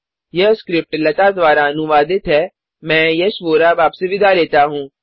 यह स्क्रिप्ट लता द्वारा अनुवादित है मैं यश वोरा अब आप से विदा लेता हूँ